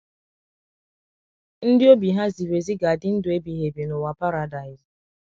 Ndị obi ha ziri ezi ga - adị ndụ ebighị ebi n’ụwa paradaịs